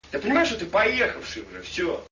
я понимаю что ты поехавший бля все